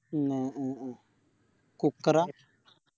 ഉം ആഹ് ആഹ് ആഹ് Cooker ആ